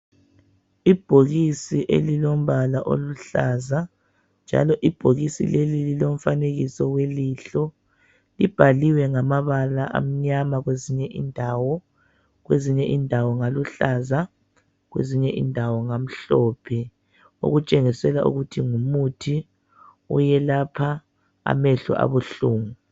Ibhokisi elilombala oluhlaza njalo ibhokisi leli lilomfanekiso welihlo libhaliwe ngamabala amnyama kwezinye indawo kwezinye indawo ngaluhlaza kwezinye indawo ngamhlophe okutsengisela ukuthi ngumuthi oyelapha amehlo abuhlungu.